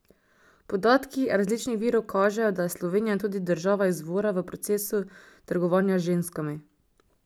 Podatki različnih virov kažejo, da je Slovenija tudi država izvora v procesu trgovanja z ženskami.